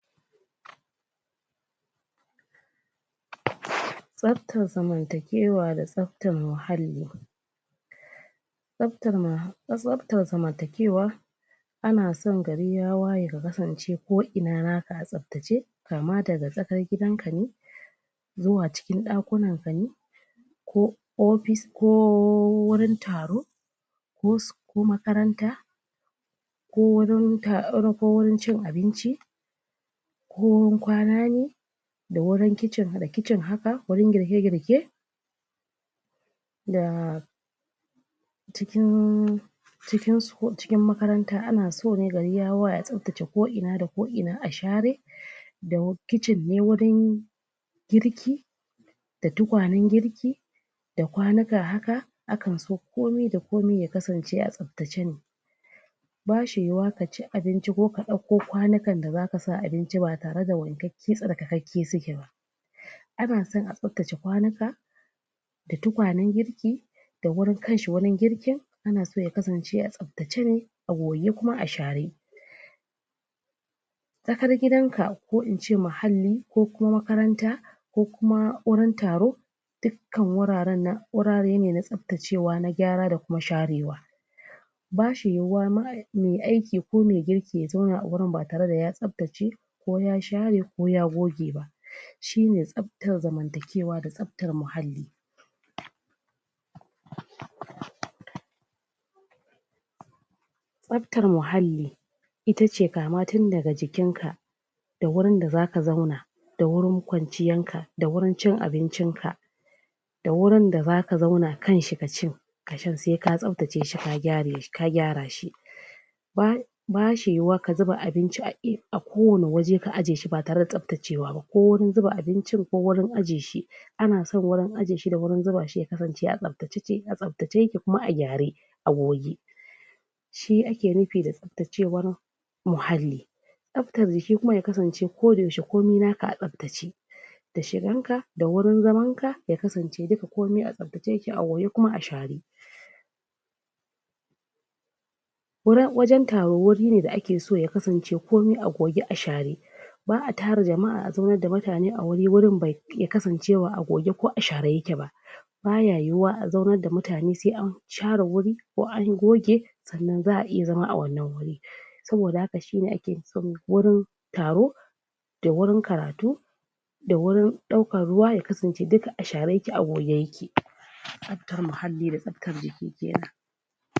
tsabtan zaman takewa da tsabtan muhalli tsabtar ma tsabtar zamantakewa ana son gari ya waye ka kasance ko ina naka a tsabtsce kama daga tsakar gidan kane zuwz cikin ɗakunan kane ko opis ko o wurin taro ko s ko makaranta ko warin tar[um] ko warin cin abinci ko wurin kwana ne da wurin kicin da kicin haka wurin girke girke da cikin cikin school cikin makarantan anaso ko ina da ko ina a share dau kicin ne wuri wurin girki da tukwanen girki da kwanuka haka akan so komda komi ya kasance a tsabtace ne bashi yuwa kaci abinci ko ka dauko kwanukan da zaka sa abinci ba tare da wanke ke tsarkakeke suke ba ana son a tsabtace kwanuka da tukwanen girki da wurin kanshi wurin girkin anaso yakasance a tsabtace ne a goge kuma a share tsakar gidan ka ko ince muhalli ko kuma makaranta ko kuma wurin taro dukan wuraren nan wurare ne na tsabtacewa na gyara da kuma sharewa bashi yuwa ma me aiki ko me girki ya zauna agurin batare da ya tsabtace ko ya shre ko ya goge ba shi ne tsabtar zamantakewa da tsabtar muhalli tsabtar muhalli itace kama tun daga jikin ka da wurin da zaka zauna da wurin kwanciyan ka da wurin cin abincin ka da wurin da zaka zauna knciashi ka ka cin se ka tsabtace shi gyara shi ba[um] bashi yuwa ka zuba abinci a e[um] kowani waje ka aje shi batare da tsabtacewa ba ko wurin zuba abincin ko wurin aje shi ana so gurin aje shi da gurin zubashi shi ya kasance a tsabtacece a tsabtace yake da kuma a gyare a goge shi ake nupi da da tsabtacewar muhalli tsabtarjiki kuma ya kasance ko da yaushe komi naka a tsabtace da shigan ka da wurin zaman ka ya kasance komi a tsab tace yake kuma a share waran[um] wajan taro wurine da 'ake so a goge a share ba'a tara jama'a a zaunar da mutane a wuri wurin bai ya kasance ba a' goge ko a share yake ba baya yuwa azaunar da mutane sai an share guri ko an goge sanan za'a iya zama awannan guri saboda haka shine ake son gurin taro da wurin karatu da wurin ɗaukan ruwa ya kasance duk a share yake a goge yake ttsabtar muhalli da tsabtar jiki kenan